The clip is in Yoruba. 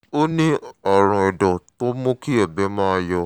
ó ní àrùn ẹ̀dọ́ tó ń mú kí ẹ̀gbẹ́ máa yọ̀